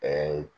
Ɛɛ